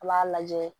A b'a lajɛ